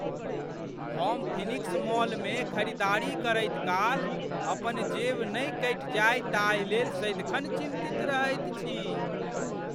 हम फीनिक्स मॉलमे खरीदारी करैत काल अपन जेब नहि कटि जाय ताहि लेल सदिखन चिन्तित रहैत छी।